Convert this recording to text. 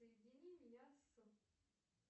соедини меня с